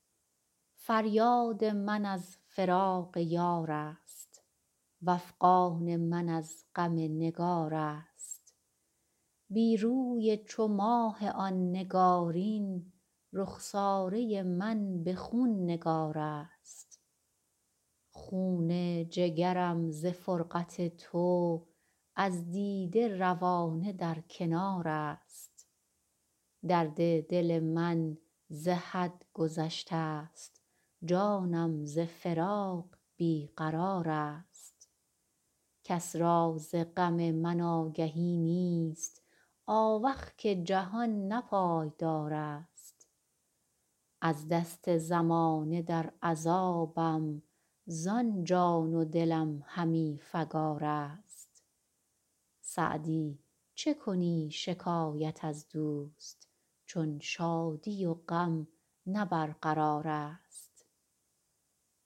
فریاد من از فراق یار است وافغان من از غم نگار است بی روی چو ماه آن نگارین رخساره من به خون نگار است خون جگرم ز فرقت تو از دیده روانه در کنار است درد دل من ز حد گذشته ست جانم ز فراق بی قرار است کس را ز غم من آگهی نیست آوخ که جهان نه پایدار است از دست زمانه در عذابم زان جان و دلم همی فکار است سعدی چه کنی شکایت از دوست چون شادی و غم نه برقرار است